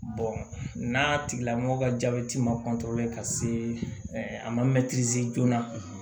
n'a tigilamɔgɔ ka jabɛti ma ka se a ma joona